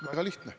Väga lihtne.